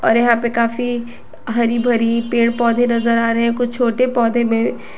यहां पे काफी हरी भरी पेड़ पौधे नजर आ रहे हैं कुछ छोटे पौधे में--